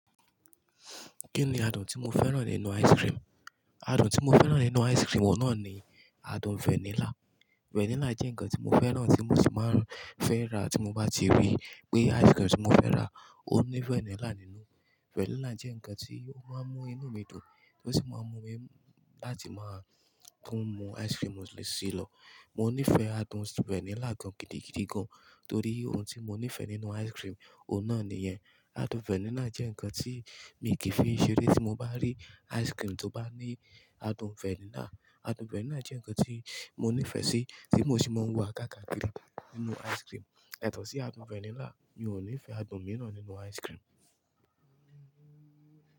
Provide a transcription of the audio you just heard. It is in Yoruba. Kí ni adùn tí mo fẹ́ràn nínú ice cream? Adùn tí mo fẹ́ràn nínú ice cream o náà ni adùn vanilla. Vanilla jẹ́ nǹkan tí mo fẹ́ràn tí mo sì máa fẹ́ ra tí mo bá ti rí pé ice cream tí mo fẹ́ rà ó ní vanilla nínú. Vanilla jẹ́ nǹkan tí ó máa ń mú inú mi dùn, ó sì máa ń mú mi láti máa tún mú ice cream mi ṣíì lọ. Mo nífẹ̀ẹ́ adùn vanilla gan-an gidi gidi gan, torí ohun tí mo nífẹ̀ẹ́ nínú ice cream, òun náà ni ìyẹn. Adùn vanilla jẹ́ ǹkan tí mi kì í fi í ṣeré tí mo bá rí ice cream tó bá ní adùn vanilla. Adùn vanilla jẹ́ nǹkan tí mo nífẹ̀ẹ́ sí, tí mo sì máa ń wà á ká kàkiri nínú ice cream. Ètò sí adùn vanilla, mi ò nífẹ̀ẹ́ adùn mìíràn nínú ice cream.